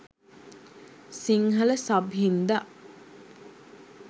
Sinhala sub හින්දා